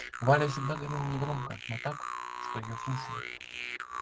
валя всегда говорила негромко но так что её слушали